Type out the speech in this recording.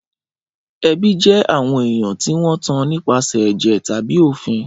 Ẹbi jẹ awọn eyàn ti won tàn nipasẹ ẹjẹ tàbí òfín.